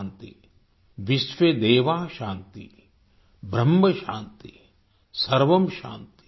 शान्तिर्विश्र्वे देवा शान्तिर्ब्रह्म शान्ति